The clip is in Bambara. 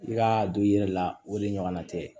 I ka don i yɛrɛ la o de ɲɔgɔnna tɛ